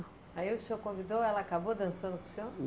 Aí o senhor convidou, ela acabou dançando com o senhor?